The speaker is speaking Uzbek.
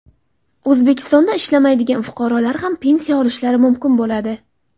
O‘zbekistonda ishlamaydigan fuqarolar ham pensiya olishlari mumkin bo‘ladi.